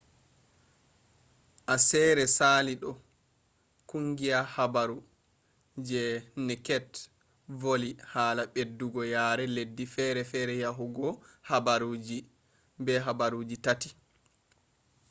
aseere sali ɗo kungiya habaru je neked voli hala ɓeddugo yare leddi fere yahugo habaruji be habaruji tati